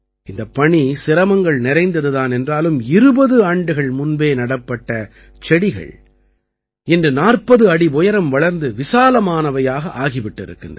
இந்தப் பணி சிரமங்கள் நிறைந்தது தான் என்றாலும் 20 ஆண்டுகள் முன்பே நடப்பட்ட செடிகள் இன்று 40 அடி உயரம் வளர்ந்து விசாலமானவையாக ஆகி விட்டிருக்கின்றன